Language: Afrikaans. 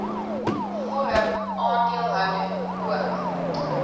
vorm aandeelhouding ook